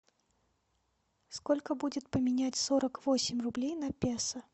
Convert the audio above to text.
сколько будет поменять сорок восемь рублей на песо